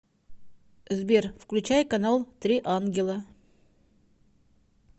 сбер включай канал три ангела